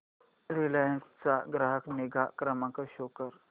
Reliance चा ग्राहक निगा क्रमांक शो कर